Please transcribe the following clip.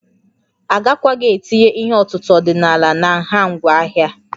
Agakwaghị etinye ihe ọ̀tụ̀tụ̀ ọdịnala na nha ngwa ahịa